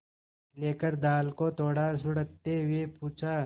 लेकर दाल को थोड़ा सुड़कते हुए पूछा